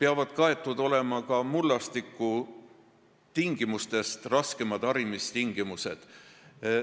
samuti peavad olema arvesse võetud mullastikust tulenevad raskemad harimistingimused.